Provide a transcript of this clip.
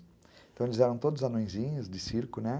Então, eles eram todos anõezinhos de circo, né?